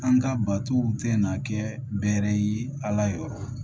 An ka batow tɛ na kɛ bɛɛrɛ ye ala yɛrɛ yɔrɔ